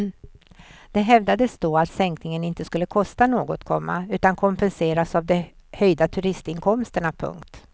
Det hävdades då att sänkningen inte skulle kosta något, komma utan kompenseras av de höjda turistinkomsterna. punkt